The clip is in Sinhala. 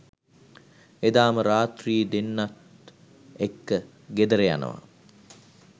එදාම රාත්‍රී දෙන්නත් එක්ක ගෙදර යනවා